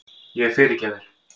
Ég fyrirgef þér.